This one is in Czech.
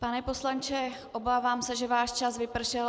Pane poslanče, obávám se, že váš čas vypršel.